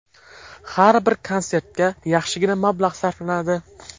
Har bir konsertga yaxshigina mablag‘ sarflanadi.